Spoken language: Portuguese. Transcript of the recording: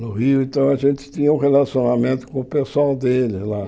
no Rio, então a gente tinha um relacionamento com o pessoal dele lá.